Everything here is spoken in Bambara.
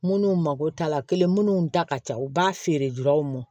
Minnu mago t'a la kelen munnu da ka ca u b'a feere m